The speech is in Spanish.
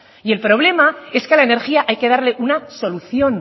y el problema es que la energía hay que darle una solución